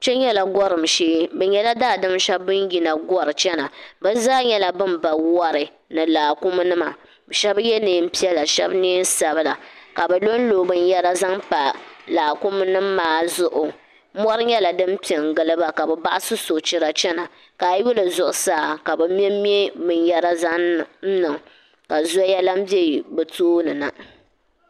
kpɛ nyɛla gɔrim shɛɛ be nyela daadam shɛbi bini yina gɔri chana bɛ zaa nyɛla bɛn ba wari ni laakumi nima shɛbi yɛ neenpiɛ shɛbi neensabila ka bi lonlo lonlo binyara zaŋ pa laakumi nim maazuɣu mɔri nyɛla din piɛ n giliba kabi baɣ'si sɔchira chana ka ayuli zuɣusaa ka bi ŋmen ŋme binyara zaŋniŋ ka zɔya lan be bɛ tooni na